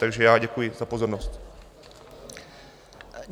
Takže já děkuji za pozornost.